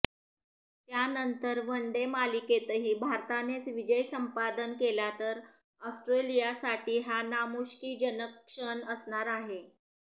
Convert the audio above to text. त्यानंतर वनडे मालिकेतही भारतानेच विजय संपादन केला तर ऑस्ट्रेलियासाठी हा नामुष्कीजनक क्षण असणार आहे